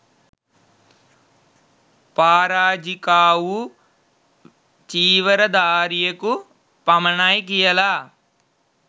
පාරාජිකාවූ චීවර ධාරියකු පමණයි කියලා